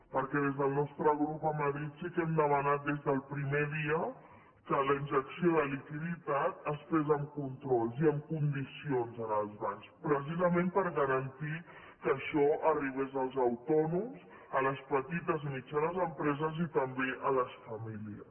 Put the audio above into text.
perquè des del nostre grup a madrid sí que hem demanat des del primer dia que la injecció de liquiditat es fes amb controls i amb condicions als bancs precisament per garantir que això arribés als autònoms a les petites i mitjanes empreses i també a les famílies